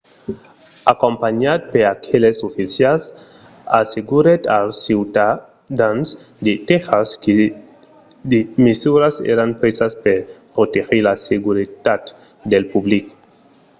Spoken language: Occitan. acompanhat per aqueles oficials assegurèt als ciutadans de tèxas que de mesuras èran presas per protegir la seguretat del public